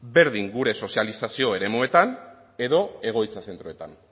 berdin gure sozializazio eremuetan edo egoitza zentroetan